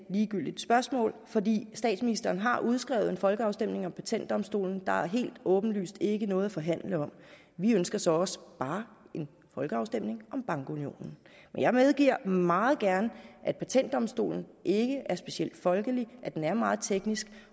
ligegyldigt spørgsmål fordi statsministeren har udskrevet en folkeafstemning om patentdomstolen der er helt åbenlyst ikke noget at forhandle om vi ønsker så også bare en folkeafstemning om bankunionen jeg medgiver meget gerne at patentdomstolen ikke er specielt folkelig at den er meget teknisk